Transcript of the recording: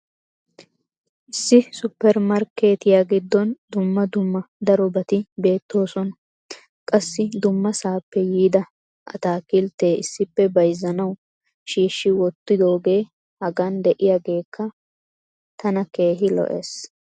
issi suppermarkeettiya giddon dumma dumma darobati beetoososna. qassi dummasaappe yiida ataakkiltetti issippe bayzzanawu shiishshi wottidoogee hagan diyaageekka tana keehi lo'ees.